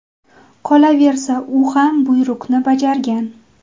Qolaversa, u ham buyruqni bajargan.